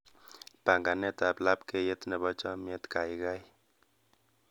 Panganetab labkeiyet nebo chomnyet gaigai